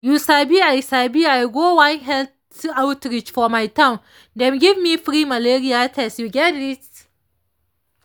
you sabi i sabi i go one health outreach for my town and dem give me free malaria test you gerrit?